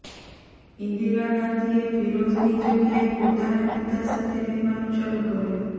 ઈન્દિરા ગાંધીએ ફિરોઝની જગ્યાએ પોતાના પિતા સાથે રહેવાનું શરૂ કર્યું